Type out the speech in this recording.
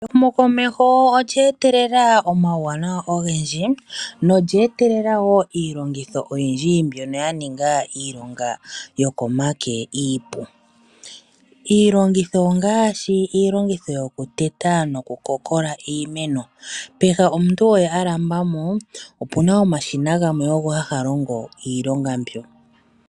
Ehumokomeho olye etelela omawuwanawa ogendji nolye etelela woo iilongitho oyindji mbyono yaninga iilonga yokomake iipu. Iilongitho ongaashi iilongitho yoku teta noku kokola iimeno peha omuntu oye alambamo opena omashina gamwe ogo haga longo iilonga mbyoka.